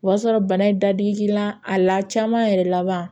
O y'a sɔrɔ bana in dadigi k'i la a la caman yɛrɛ laban